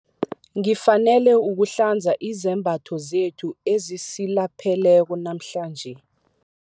Ngifanele ukuhlanza izembatho zethu ezisilapheleko namhlanje.